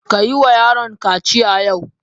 Ka yi wa yaron kaciya yau!